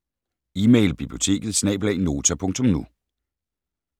Email: biblioteket@nota.nu